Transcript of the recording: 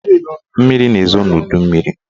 Mmiri na-ezo n'udummiri